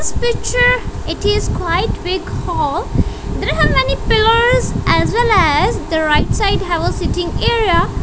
in this picture it is quite big hall there are many pillars as well as the right side have a sitting area.